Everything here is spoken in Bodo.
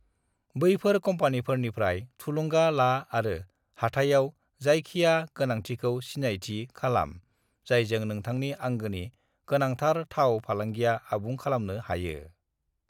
बैफोर कम्पानिफोरनिफ्राय थुलुंगा ला आरो हाथाइआव जाखिया गोनांथिखौ सिनायथि खालाम जायजों नोंथांनि आंगोनि गोनांथार थाव फालांगिया आबुं खालामनो हायो।